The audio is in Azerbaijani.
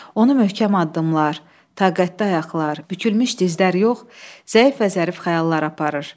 Onu möhkəm addımlar, taqətli ayaqlar, bükülmüş dizlər yox, zəif və zərif xəyallar aparır.